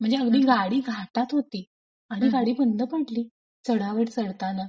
म्हणजे अगदी गाडी घाटात होती. आणि गाडी बंद पडली चढावर चढताना.